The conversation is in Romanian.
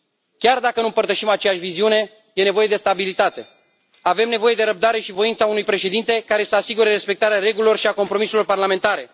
Chiar dacă nu împărtășim aceeași viziune, e nevoie de stabilitate. Avem nevoie de răbdare și voința unui președinte care să asigure respectarea regulilor și a compromisurilor parlamentare.